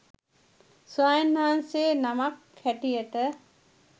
ස්වාමීන් වහන්සේ නමක් හැටියට